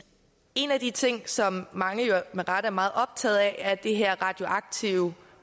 en af de ting som mange med rette er meget optaget af er det her radioaktive